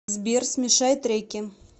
сбер смешай треки